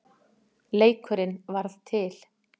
Leikurinn varð til.